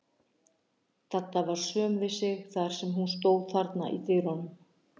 Dadda var söm við sig þar sem hún stóð þarna í dyrunum.